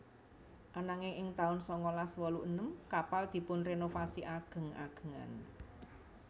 Ananging ing taun sangalas wolu enem kapal dipunrenovasi ageng agengan